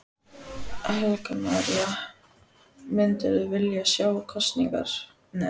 Helga María: Myndirðu vilja sjá kosningar?